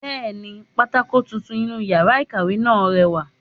Bẹ́ẹ̀ni, pátákó tuntun inú yàrá ìkàwé náà rẹwà